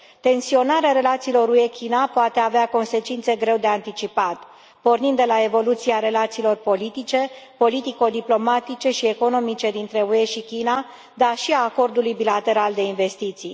Tensionarea relațiilor UE China poate avea consecințe greu de anticipat, pornind de la evoluția relațiilor politice, politico diplomatice și economice dintre UE și China, dar și a acordului bilateral de investiții.